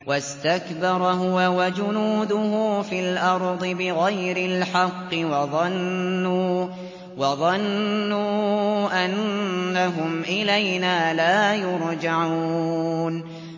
وَاسْتَكْبَرَ هُوَ وَجُنُودُهُ فِي الْأَرْضِ بِغَيْرِ الْحَقِّ وَظَنُّوا أَنَّهُمْ إِلَيْنَا لَا يُرْجَعُونَ